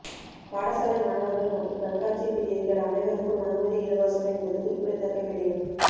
பாடசாலை மாணவர்கள் மற்றும் கண்காட்சி பிரியர்கள் அனைவருக்கும் அனுமதி இலவசம் என்பது குறிப்பிடத் தக்க விடயம்